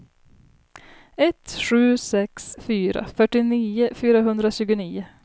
ett sju sex fyra fyrtionio fyrahundratjugonio